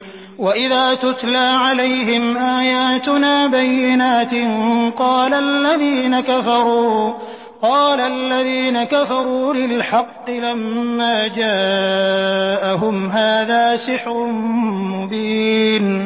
وَإِذَا تُتْلَىٰ عَلَيْهِمْ آيَاتُنَا بَيِّنَاتٍ قَالَ الَّذِينَ كَفَرُوا لِلْحَقِّ لَمَّا جَاءَهُمْ هَٰذَا سِحْرٌ مُّبِينٌ